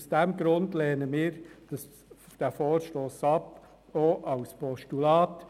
Aus diesem Grund lehnen wir den Vorstoss ab, auch als Postulat.